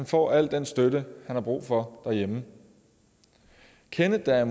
får al den støtte han har brug for derhjemme kenneth er